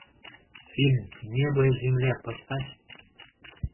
фильм небо и земля поставь